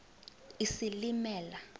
isilimela